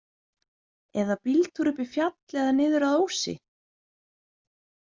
Eða bíltúr upp í fjall eða niður að Ósi?